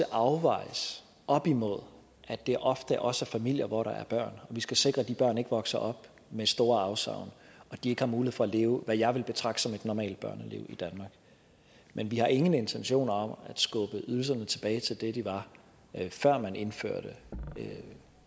afvejes op imod at det ofte også er familier hvor der er børn og vi skal sikre at de børn ikke vokser op med store afsavn og at de ikke har mulighed for at leve hvad jeg vil betragte som et normalt børneliv i danmark men vi har ingen intentioner om at skubbe ydelserne tilbage til det de var før man indførte